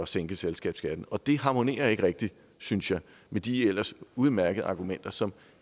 sænke selskabsskatten og det harmonerer ikke rigtig synes jeg med de ellers udmærkede argumenter som